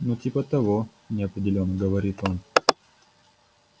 ну типа того неопределённо говорит он